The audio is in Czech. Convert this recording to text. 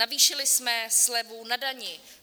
Navýšili jsme slevu na dani.